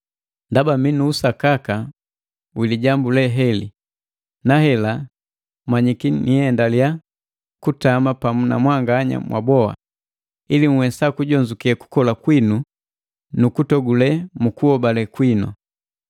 Ndaba mi nu usakaka wilijambu le heli, na hela manyiki niendaliya kutama pamu na mwanganya mwaboa, ili nhwesa kujonzuke kukola kwinu nu kutogule mu kuhobale kwinu.